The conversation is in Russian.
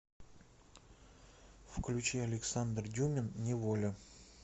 включи александр дюмин неволя